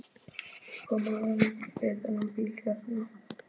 Ég kom að honum við þennan bíl hérna.